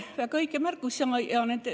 Väga õige märkus.